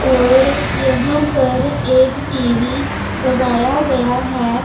और यहां पर एक टी_वी लगाया गया है।